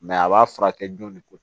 a b'a furakɛ jɔn de ko